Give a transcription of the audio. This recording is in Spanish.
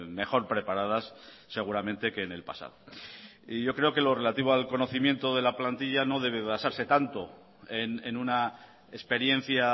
mejor preparadas seguramente que en el pasado y yo creo que lo relativo al conocimiento de la plantilla no debe basarse tanto en una experiencia